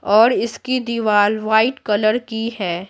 और इसकी दीवार वाइट कलर की है।